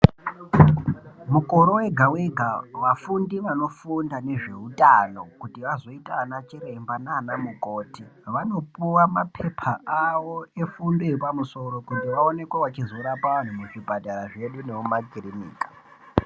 Mukore wega wega vafundi vanofunda ngezveutano kuti vazoita anachiremba naanamukoti vanopuwa mapepa avo efundo yepamusoro kuti vaonekwe vachizorapa vanhu muzvipatara zvedu nemakirinika.